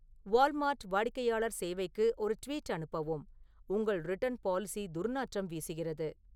Walmart வாடிக்கையாளர் சேவைக்கு ஒரு ட்வீட் அனுப்பவும் உங்கள் ரிட்டர்ன் பாலிசி துர்நாற்றம் வீசுகிறது